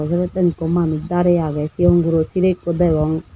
eh sibeten eko manus dareh aage sigon goro sireh eko degong.